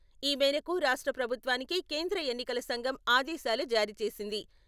ఈ మేరకు రాష్ట్ర ప్రభుత్వానికి కేంద్ర ఎన్నికల సంఘం ఆదేశాలు జారీ చేసింది.